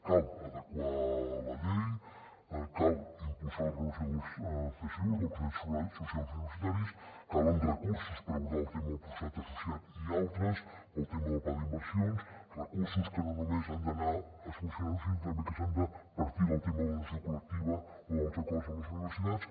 cal adequar la llei cal impulsar la renovació dels csu dels consells socials universitaris calen recursos per abordar el tema del professorat associat i altres pel tema del pla d’inversions recursos que no només han d’anar a solucionar ho sinó també que han de partir del tema de la negociació col·lectiva o dels acords amb les universitats